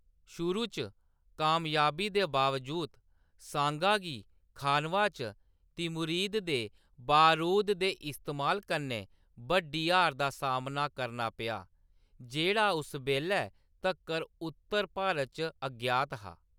शुरू च कामयाबी दे बावजूद सांगा गी खानवा च तिमुरिद दे बरूद दे इस्तेमाल कन्नै बड्डी हार दा सामना करना पेआ, जेह्‌‌ड़ा उस बेल्लै तक्कर उत्तर भारत च अज्ञात हा।